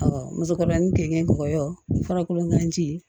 musokɔrɔba ni gengɛn kɔyɔ fɔlɔ kolonkan ji